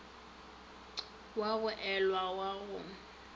wa go ela wa go